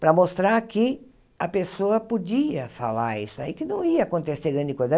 para mostrar que a pessoa podia falar isso aí, que não ia acontecer grande coisa.